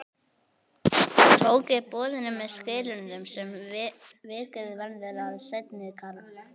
Tók ég boðinu með skilyrðum sem vikið verður að í seinni kafla.